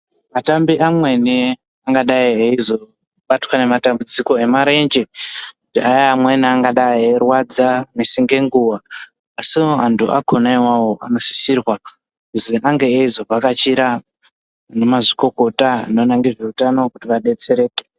Atambi amweni angadai eizobatwa ngematambudziko emarenje kudai amweni angadai eirwadza misinge nguva. Soo antu akona ivovo anosisirwa kuzi ange eizovhakachira vana mazvikokota anoona ngezveutano kuti vabetsereke.